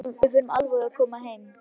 Við förum alveg að koma heim.